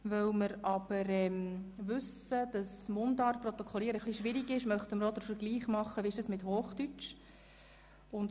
Weil wir aber wissen, dass es etwas schwierig ist, Mundart automatisch zu protokollieren, möchten wir den Vergleich machen, wie es mit Hochdeutsch funktioniert.